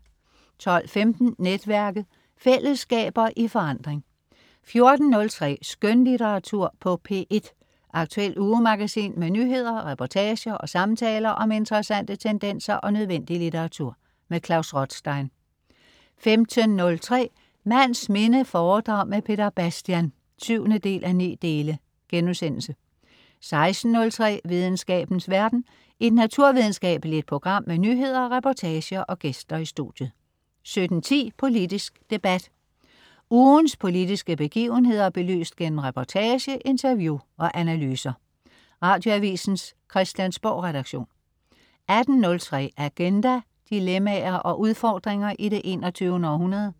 12.15 Netværket. Fællesskaber i forandring 14.03 Skønlitteratur på P1. Aktuelt ugemagasin med nyheder, reportager og samtaler om interessante tendenser og nødvendig litteratur. Klaus Rothstein 15.03 Mands minde foredrag med Peter Bastian 7:9* 16.03 Videnskabens verden. Et naturvidenskabeligt program med nyheder, reportager og gæster i studiet 17.10 Politisk debat. Ugens politiske begivenheder belyst gennem reportage, interview og analyser. Radioavisens Christiansborgredaktion 18.03 Agenda. Dilemmaer og udfordringer i det 21. århundrede